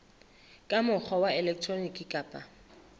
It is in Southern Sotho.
ka mokgwa wa elektroniki kapa